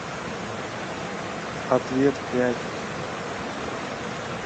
ответ пять